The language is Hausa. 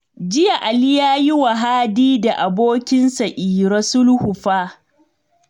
Jiya Ali ya yi wa Hadi da abokinsa Iro sulhu fa